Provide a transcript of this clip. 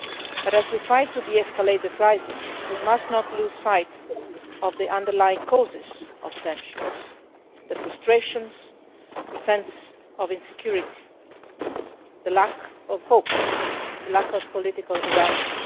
But as we try to de escalate the crisis we must not lose sight of the underlying causes of tensions, the frustrations, the sense of insecurity, the lack of hope and the lack of a political horizon.